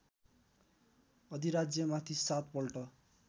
अधिराज्यमाथि सात पल्ट